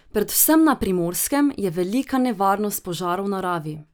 Predvsem na Primorskem je velika nevarnost požarov v naravi.